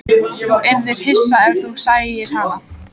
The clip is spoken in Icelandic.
Þú yrðir hissa ef þú sæir hana.